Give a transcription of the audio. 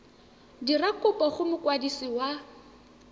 dira kopo go mokwadisi wa